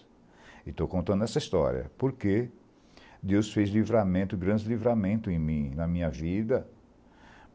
E estou contando essa história porque Deus fez livramento grandes livramento em mim, na minha vida.